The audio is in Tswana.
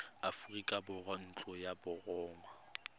aforika borwa ntlo ya borongwa